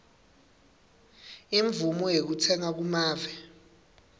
imvumo yekutsenga kumave